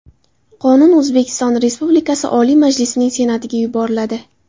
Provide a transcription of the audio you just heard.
Qonun O‘zbekiston Respublikasi Oliy Majlisining Senatiga yuboriladi.